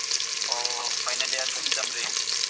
ಓ final year sixth sem ರೀ.